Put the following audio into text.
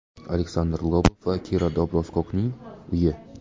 Aleksandr Lobov va Kira Dobroskokning uyi.